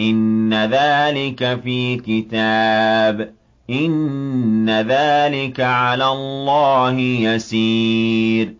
إِنَّ ذَٰلِكَ فِي كِتَابٍ ۚ إِنَّ ذَٰلِكَ عَلَى اللَّهِ يَسِيرٌ